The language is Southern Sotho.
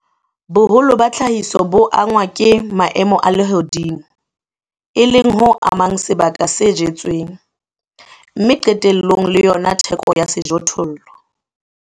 Boholo ba tlhahiso bo angwa ke maemo a lehodimo, e leng ho amang sebaka se jetsweng, mme qetellong le yona theko ya sejothollo.